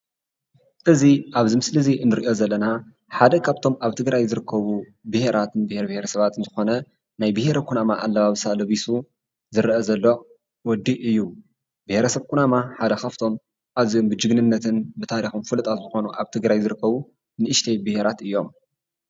እዚ ኣብዚ ምስሊ እዚ ንሪኦ ዘለና ሓደ ካብቶም ኣብ ትግራይ ዝርከቡ ብሄራትን ብሄር ብሄረሰባትን ዝኾነ ናይ ብሄረ ኩናማ ኣለባብሳ ለቢሱ ዝርአ ዘሎ ወዲ እዩ፡፡ ብሄረሰብ ኩናማ ሓደ ካብቶም ኣዝዮም ብጅግንነትን ብታሪኽን ፍሉጣት ዝኾኑ ኣብ ትግራይ ዝርከቡ ንኡሽተይ ብሄራት እዩም፡፡